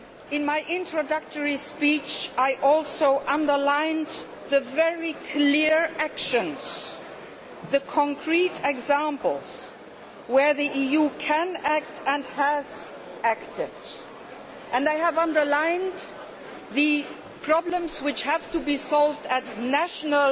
In my introductory speech, I also underlined the very clear actions, the concrete examples of where the EU can act and has acted, and I underlined the problems which have to be solved at national